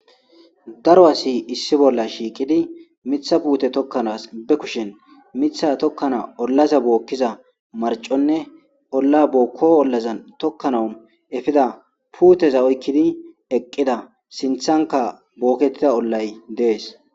Darro assi issi bolla shiqiddi mitha putte tokanasi baa kusheni mitha tokanawu olla bokizza mariccone olla boko tokanawu efiza putezanne sinithani ollazi bettesi